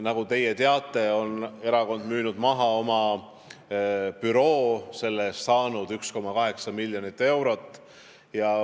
Nagu te teate, erakond on müünud maha oma büroohoone ja selle eest saanud 1,8 miljonit eurot.